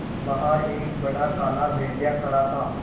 बाहर एक बड़ा काला भेड़िया खड़ा था